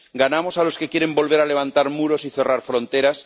ganamos a los que quieren volver a levantar muros y cerrar fronteras